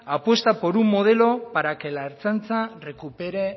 apuesta por un modelo para que la ertzaintza recupere